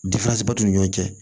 ba t'u ni ɲɔɔn cɛ